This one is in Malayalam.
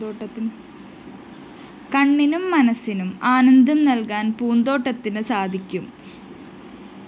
കണ്ണിനും മനസ്സിനും ആനന്ദം നല്‍കാന്‍ പൂന്തോട്ടത്തിന് സാധിക്കും